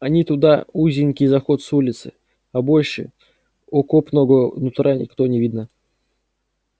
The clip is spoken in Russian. один туда узенький заход с улицы а больше окопного нутра ниоткуда не видно